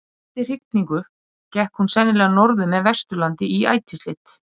Eftir hrygningu gekk hún sennilega norður með Vesturlandi í ætisleit.